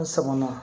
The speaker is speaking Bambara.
N sɔmina